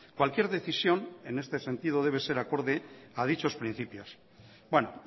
cualquier decisión en este sentido debe ser acorde a dichos principios bueno